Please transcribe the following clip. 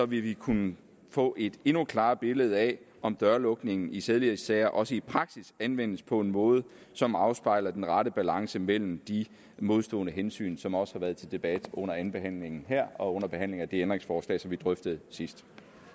vi kunne få et endnu klarere billede af om dørlukningen i sædelighedssager også i praksis anvendes på en måde som afspejler den rette balance mellem de modstående hensyn som også har været til debat under andenbehandlingen her og under behandlingen af de ændringsforslag som vi drøftede sidst